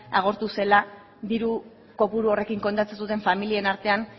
agortu zela diru kopuru horrekin kontatzen zuten familien artean